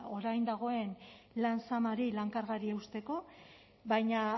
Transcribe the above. orain dagoen lan zamari lan kargari eusteko baina